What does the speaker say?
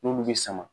N'olu bɛ sama